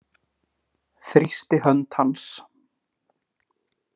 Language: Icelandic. Þrýsti hönd hans.